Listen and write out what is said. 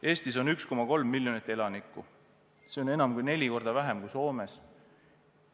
Eestis on 1,3 miljonit elanikku, see on enam kui neli korda vähem kui Soomes.